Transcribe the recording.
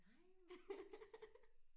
Nej hvor godt